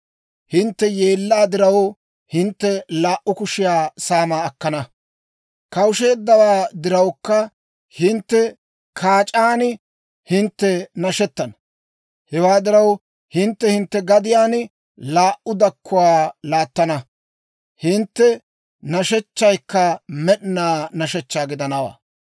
Hintte yeellaa diraw hintte laa"u kushiyaa saamaa akkana; kawusheeddawaa dirawukka hintte kaac'aan hintte nashettana. Hewaa diraw, hintte hintte gadiyaan laa"u dakkuwaa laattana; hintte nashechchaykka med'inaa nashechchaa gidanawaa.